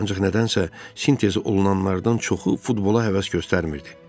Ancaq nədənsə sintezi olunanlardan çoxu futbola həvəs göstərmirdi.